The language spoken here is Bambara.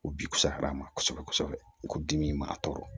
U bi kusaya ma kosɛbɛ kosɛbɛ i ko dimi ma tɔɔrɔ